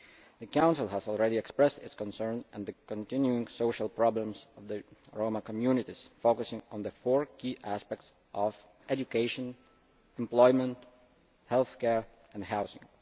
The Council has already expressed its concern at the continuing social problems of the Roma communities, focusing on the four key aspects of education, employment, healthcare and housing.